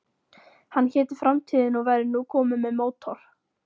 Hann héti Framtíðin og væri nú kominn með mótor.